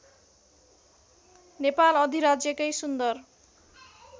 नेपाल अधिराज्यकै सुन्दर